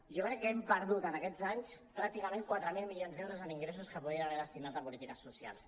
jo crec que hem perdut en aquests anys pràcticament quatre mil milions d’euros amb ingressos que podien haver destinat a polítiques socials